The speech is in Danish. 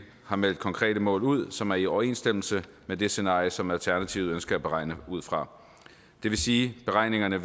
har meldt konkrete mål ud som er i overensstemmelse med det scenarie som alternativet ønsker at beregne ud fra det vil sige at beregningerne